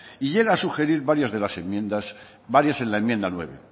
y llega a sugerir varios de las enmiendas varios en la enmienda nueve